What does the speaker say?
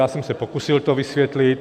Já jsem se pokusil to vysvětlit.